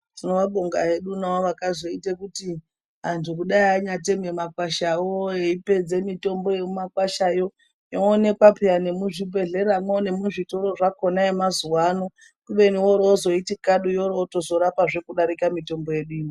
Tinovabonga hedu navo vakazoite kuti antu kudai anyateme makwashawo eipedze mitombo yemumakwashayo , yoonekwapayi nemuzvibhedhleramwo nemuzvitoro zvakona yemazuva ano kubeni woro wozoiti kadu yoro yotozorapa kudarika mitombo yedu ino.